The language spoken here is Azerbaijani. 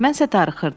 Mən isə darıxırdım.